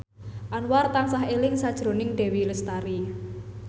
Anwar tansah eling sakjroning Dewi Lestari